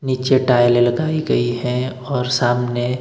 नीचे टाइलें लगाई गई हैं और सामने--